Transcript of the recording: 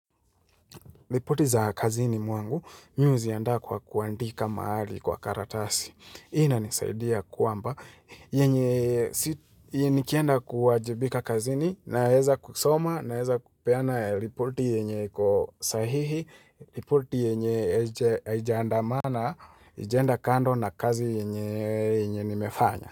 Ripoti za kazini mwangu mi huziandaa kwa kuandika mahali kwa karatasi. Hii inanisaidia kwamba yenye nikienda kuwajibika kazini naeza kusoma naeza kupeana ripoti yenye iko sahihi, ripoti yenye haija andamana, haijaenda kando na kazi yenye nimefanya.